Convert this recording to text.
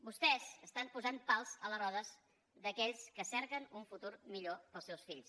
vostès estan posant pals a les rodes d’aquells que cerquen un futur millor per als seus fills